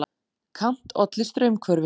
Kant olli straumhvörfum.